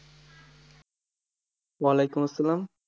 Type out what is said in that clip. ওয়ালাইকুম আস্সালাম।